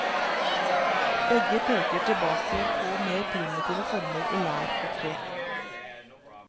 Begge peker til bake på mer primitive former i lær og tre.